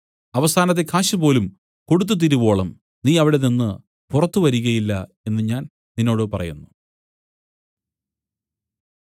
അവസാനത്തെ കാശുപോലും കൊടുത്തുതീരുവോളം നീ അവിടെനിന്നു പുറത്തു വരികയില്ല എന്നു ഞാൻ നിന്നോട് പറയുന്നു